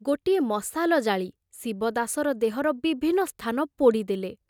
ଗୋଟିଏ ମଶାଲ ଜାଳି ଶିବଦାସର ଦେହର ବିଭିନ୍ନ ସ୍ଥାନ ପୋଡ଼ି ଦେଲେ।